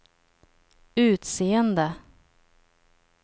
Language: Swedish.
utseende